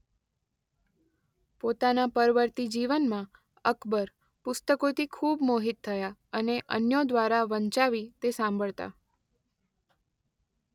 પોતના પરવર્તી જીવનમાં અકબર પુસ્તકોથી ખૂબ મોહિત થયા અને અન્યો દ્વારા વંચાવી તે સાંભળતા.